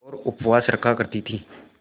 और उपवास रखा करती थीं